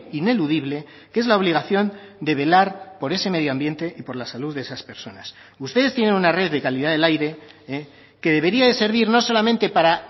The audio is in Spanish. ineludible que es la obligación de velar por ese medio ambiente y por la salud de esas personas ustedes tienen una red de calidad del aire que debería de servir no solamente para